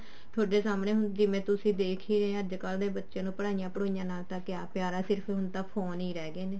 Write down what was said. ਥੋਡੇ ਸਾਹਮਣੇ ਜਿਵੇਂ ਤੁਸੀਂ ਹੁਣ ਦੇਖ ਹੀ ਰਹੇ ਹੋ ਅੱਜਕਲ ਦੇ ਬੱਚੇ ਨੂੰ ਪੜ੍ਹਾਈ ਨਾਲ ਤਾਂ ਕਿਆ ਪਿਆਰ ਆ ਸਿਰਫ ਹੁਣ phone ਹੀ ਰਿਹ ਗਏ ਨੇ